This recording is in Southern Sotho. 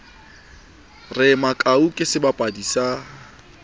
re makau ke sebapadi sa